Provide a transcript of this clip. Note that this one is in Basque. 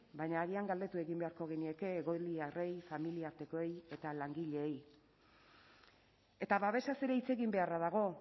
baina agian galdetu egin beharko genieke egoiliarrei familiartekoei eta langileei eta babesaz ere hitz egin beharra dago